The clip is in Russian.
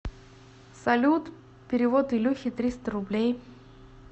салют перевод илюхе триста рублей